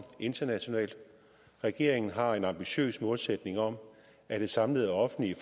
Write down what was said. internationalt regeringen har en ambitiøs målsætning om at det samlede offentlige